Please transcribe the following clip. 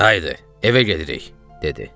Haydı, evə gedirik, dedi.